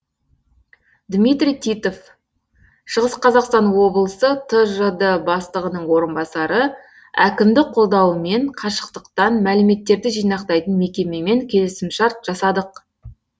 дмитрий титов шығыс қазақстан облысы тжд бастығының орынбасары әкімдік қолдауымен қашықтықтан мәліметтерді жинақтайтын мекемемен келісімшарт жасадық